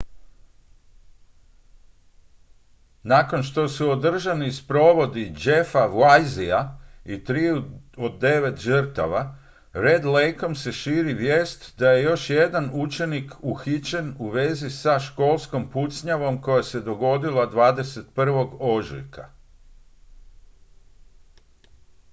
nakon što su održani sprovodi jeffa weisea i triju od devet žrtava red lakeom se širi vijest da je još jedan učenik uhićen u vezi sa školskom pucnjavom koja se dogodila 21. ožujka